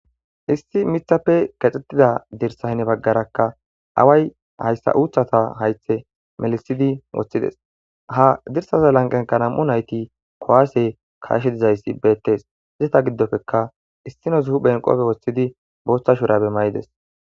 issi mithappe kexxetida dirsa hine baggarakka away hayssa uuthata haythe melisidi woththides ha dirsaza lanqenka nam7u nayti kowaase kaashe dizayssi beettes izeta giddopfeka issino zuhu phenqopfe woshshidi booththa shurabe mayides